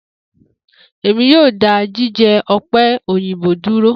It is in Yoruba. Emi yoo da jijẹ òpè òyìnbó duro.